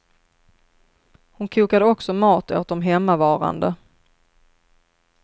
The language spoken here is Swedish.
Hon kokade också mat åt de hemmavarande.